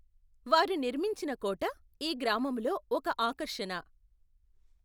వారు నిర్మించిన కోట ఈ గ్రామములో ఒక ఆకర్షణ.